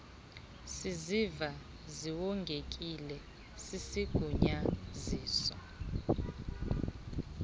siziva siwongekile sisigunyaziso